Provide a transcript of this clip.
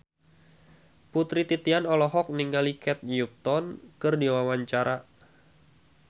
Putri Titian olohok ningali Kate Upton keur diwawancara